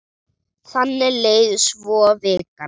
Þannig leið svo vikan.